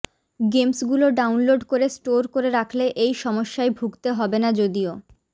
গেমসগুলো download করে store করে রাখলে এই সমস্যায় ভুগতে হবে না যদিও